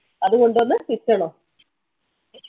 അത് കൊണ്ട് വന്ന്